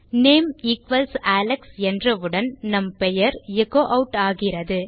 name equals Alex என்றவுடன் நம் பெயர் எச்சோ ஆட் ஆகிறது